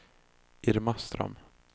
Irma Ström